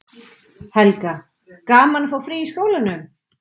Helga: Gaman að fá frí í skólanum?